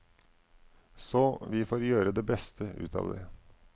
Så vi får gjøre det beste ut av det.